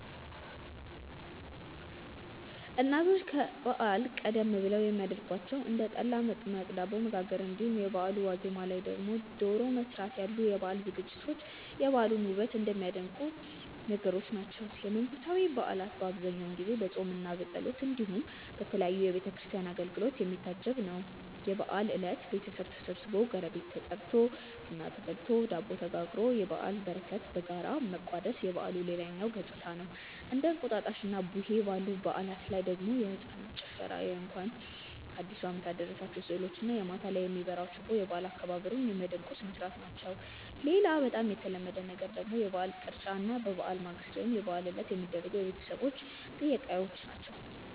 እናቶች ከበዓል ቀደም ብለው የሚያረጓቸው እንደ ጠላ መጥመቅ፣ ዳቦ መጋገር እንዲሁም የበአሉ ዋዜማ ላይ ደግሞ ዶሮ መስራት ያሉ የበዓል ዝግጅቶች የበዓሉን ውበት የሚያደምቁ ነገሮች ናቸው። የመንፈሳዊ በዓላት በአብዛኛው ጊዜ በፆምምና በጸሎት እንዲሁም በተለያዩ የቤተ ክርስቲያን አገልግሎቶች የሚታጀብ ነው። የበዓል እለት ቤተሰብ ተሰብስቦ፣ ጎረቤት ተጠርቶ፣ ቡና ተፈልቶ፣ ዳቦ ተጋግሮ የበዓልን በረከት በጋራ መቋደስ የበዓሉ ሌላኛው ገፅታ ነው። እንደ እንቁጣጣሽና ቡሄ ባሉ በዓላት ላይ ደግሞ የህፃናት ጭፈራ የእንኳን አዲሱ አመት አደረሳችሁ ስዕሎች እና ማታ ላይ የሚበራው ችቦ የበዓል አከባበሩን ሚያደምቁ ስርዓቶች ናቸው። ሌላ በጣም የተለመደ ነገር ደግሞ የበዓል ቅርጫ እና ከበዓል ማግስት ወይም የበዓል ዕለት የሚደረጉ የቤተሰብ ጥየቃዎች ናቸው።